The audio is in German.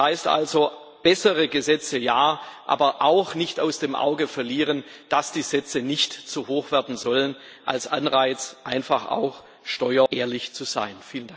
Das heißt also Bessere Gesetze ja, aber auch nicht aus dem Auge verlieren, dass die Sätze nicht zu hoch werden sollen als Anreiz, einfach auch steuerehrlich zu sein.